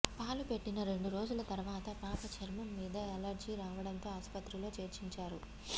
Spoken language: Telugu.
పాలు పెట్టిన రెండు రోజుల తర్వాత పాప చర్మం మీద ఎలర్జీ రావడంతో ఆసుపత్రిలో చేర్పించారు